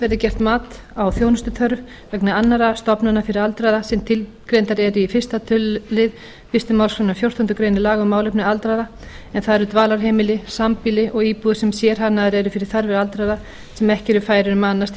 verði gert mat á þjónustuþörf vegna annarra stofnana fyrir aldraða sem tilgreindar eru í fyrsta tölulið fyrstu málsgrein fjórtándu grein laga um málefni aldraðra en það eru dvalarheimili sambýli og íbúðir sem sérhannaðar eru fyrir þarfir aldraðra sem eru ekki færir um að annast